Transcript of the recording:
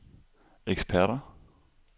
eksperter